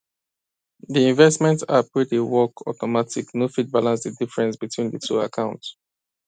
the investment app wey dey work automatic no fit balance the difference between the two accounts